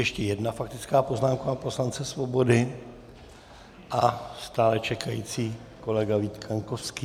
Ještě jedna faktická poznámka pana poslance Svobody a stále čekající kolega Vít Kaňkovský.